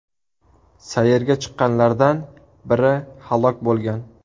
Sayrga chiqqanlardan biri halok bo‘lgan.